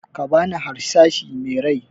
Bani harsashi me rai!